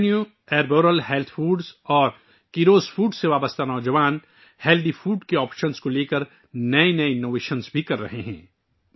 Alpino health foods, Arboreal اور Kairos foods سے جڑے نوجوان صحت مند غذا کے متبادل کے حوالے سے بھی نئے نئے اختراعات کر رہے ہیں